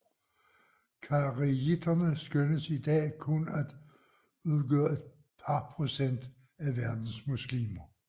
Kharijitterne skønnes i dag kun at udgøre et par procent af verdens muslimer